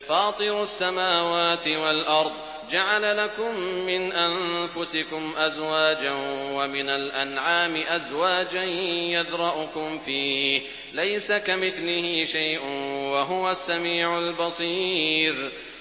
فَاطِرُ السَّمَاوَاتِ وَالْأَرْضِ ۚ جَعَلَ لَكُم مِّنْ أَنفُسِكُمْ أَزْوَاجًا وَمِنَ الْأَنْعَامِ أَزْوَاجًا ۖ يَذْرَؤُكُمْ فِيهِ ۚ لَيْسَ كَمِثْلِهِ شَيْءٌ ۖ وَهُوَ السَّمِيعُ الْبَصِيرُ